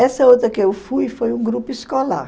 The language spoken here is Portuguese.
Essa outra que eu fui foi um grupo escolar.